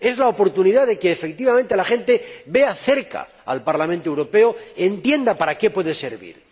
Es la oportunidad de que, efectivamente, la gente vea cerca al Parlamento Europeo y entienda para qué puede servir.